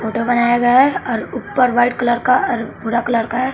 Photo बनाया और ऊपर व्हाइट कलर का और भूरा कलर का है।